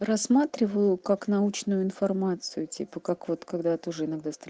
рассматриваю как научную информацию типа как вот когда ты уже иногда стр